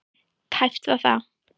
Tæpt var það.